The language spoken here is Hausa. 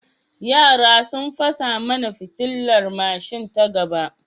Yara sun fasa mana fitilar mashin ta gaba.